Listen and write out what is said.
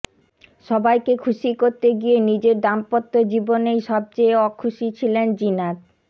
সবাইকে খুশি করতে গিয়ে নিজের দাম্পত্য জীবনেই সবচেয়ে অখুশী ছিলেন জিনাত